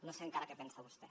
no sé encara què pensa vostè